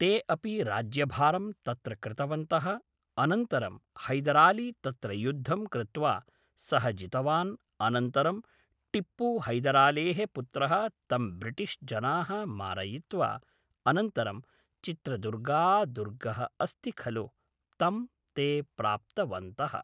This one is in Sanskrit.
ते अपि राज्यभारं तत्र कृतवन्तः अनन्तरं हैदरालि तत्र युद्धं कृत्वा सः जितवान् अनन्तरं टिप्पु हैदरालेः पुत्रः तं ब्रिटिश्जनाः मारयित्वा अनन्तरं चित्रदुर्गा दुर्गः अस्ति खलु तं ते प्राप्तवन्तः